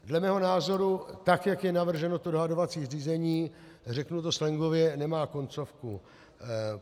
Dle mého názoru, tak jak je navrženo to dohodovací řízení, řeknu to slangově, nemá koncovku.